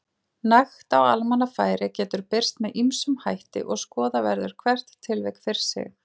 Nekt á almannafæri getur birst með ýmsum hætti og skoða verður hvert tilvik fyrir sig.